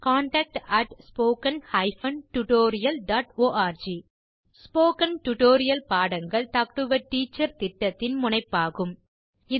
contact at spoken hyphen tutorial dot org spoken tutorial பாடங்கள் talk to a teacher திட்டத்தின் முனைப்பாகும்